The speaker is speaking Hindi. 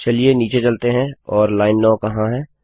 चलिए नीचे चलते हैं और लाइन 9 कहाँ है